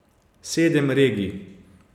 Sedem regij.